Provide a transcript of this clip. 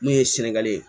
N'u ye sɛnŋɛli ye